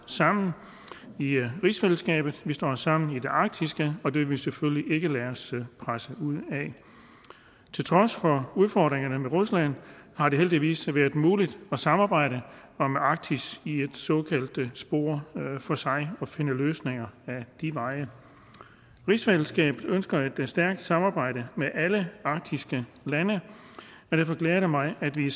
sammen i rigsfællesskabet vi står sammen i det arktiske og det vil vi selvfølgelig ikke lade os presse ud af til trods for udfordringerne med rusland har det heldigvis været muligt at samarbejde om arktis i et såkaldt spor for sig og finde løsninger ad de veje rigsfællesskabet ønsker et stærkt samarbejde med alle arktiske lande og derfor glæder det mig at vi